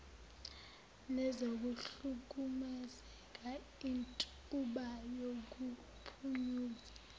nezokuhlukumezeka intuba yokuphunyula